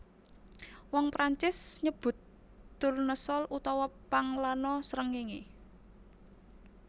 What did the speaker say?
Wong Prancis nyebut tournesol utawa panglana srengéngé